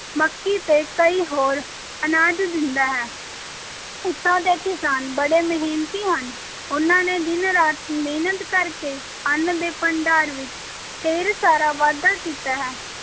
ਮੱਕੀ ਤੇ ਕਈ ਹੋਰ ਅਨਾਜ ਦਿੰਦਾ ਹੈ, ਇੱਥੋਂ ਦੇ ਕਿਸਾਨ ਬੜੇ ਮਿਹਨਤੀ ਹਨ, ਉਨ੍ਹਾਂ ਨੇ ਦਿਨ-ਰਾਤ ਮਿਹਨਤ ਕਰ ਕੇ ਅੰਨ ਦੇ ਭੰਡਾਰ ਵਿੱਚ ਢੇਰ ਸਾਰਾ ਵਾਧਾ ਕੀਤਾ ਹੈ